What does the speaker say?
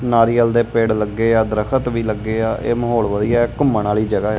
ਨਾਰੀਅਲ ਦੇ ਪੇੜ ਲੱਗੇ ਆ ਦਰੱਖਤ ਵੀ ਲੱਗੇ ਆ ਇਹ ਮਾਹੌਲ ਵਧੀਆ ਇਹ ਘੁੰਮਣ ਵਾਲੀ ਜਗ੍ਹਾ ਐ।